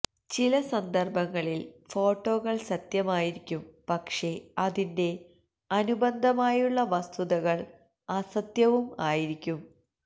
ചില സന്ദര്ഭങ്ങളില് ഫോട്ടോകള് സത്യമായിരിക്കും പക്ഷേ അതിന്റെ അനുബന്ധമായുള്ള വസ്തുതകള് അസത്യവും ആയിരിക്കും